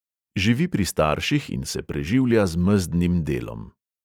Živi pri starših in se preživlja z mezdnim delom.